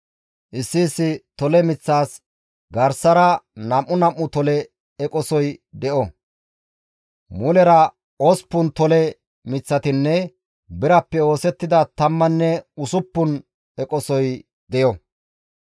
Issi issi tole miththas garsara nam7u nam7u tole eqosoy de7o; mulera osppun tole miththatinne birappe oosettida tammanne usuppun eqosoy deyo.